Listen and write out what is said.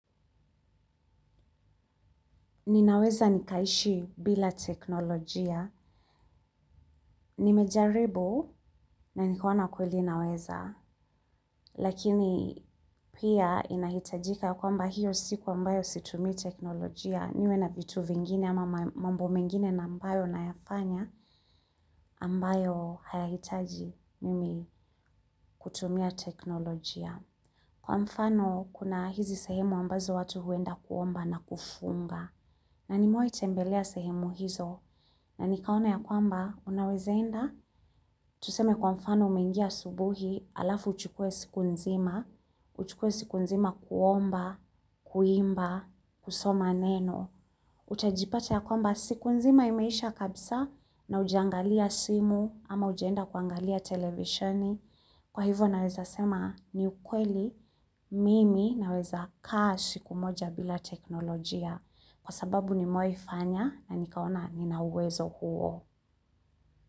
Ninaweza nikaishi bila teknolojia, nimejaribu na nikaona kweli naweza, lakini pia inahitajika kwamba hio siku ambayo situmi teknolojia, niwe na vitu vingine ama mambo mengine na ambayo nayafanya ambayo haya hitaji mimi kutumia teknolojia. Kwa mfano, kuna hizi sehemu ambazo watu huenda kuomba na kufunga. Na nimewai tembelea sehemu hizo na nikaona ya kwamba, unaweza enda? Tuseme kwa mfano umengia asubuhi alafu uchukue siku nzima, uchukue siku nzima kuomba, kuimba, kusoma neno. Utajipata ya kwamba siku nzima imeisha kabisa na hujangalia simu ama hujaenda kuangalia televisheni. Kwa hivyo naweza sema ni ukweli mimi naweza kaa sikumoja bila teknolojia kwa sababu nimewai fanya na nikaona nina uwezo huo.